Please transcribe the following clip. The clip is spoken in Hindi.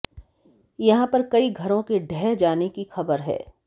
यहां पर कई घरों के ढह जाने की खबर है